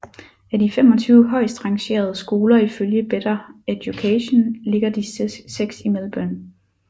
Af de 25 højst rangerede skoler ifølge Better Education ligger de seks i Melbourne